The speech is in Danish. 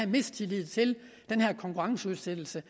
mistillid til den her konkurrenceudsættelse